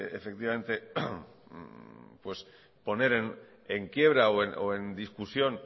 poner en quiebra o en discusión